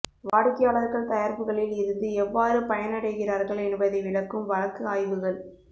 வாடிக்கையாளர்கள் தயாரிப்புகளில் இருந்து எவ்வாறு பயனடைகிறார்கள் என்பதை விளக்கும் வழக்கு ஆய்வுகள்